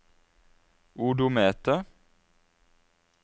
odometer